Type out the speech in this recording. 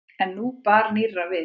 En nú bar nýrra við.